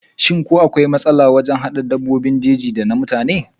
shim ko akwai matsala wajen hada dabbobin jeji da mutane?